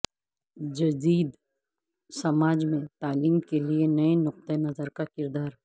جدید سماج میں تعلیم کے لئے نئے نقطہ نظر کا کردار